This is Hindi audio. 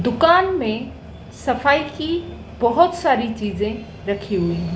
दुकान में सफाई की बहोत सारी चीजे रखी हुईं--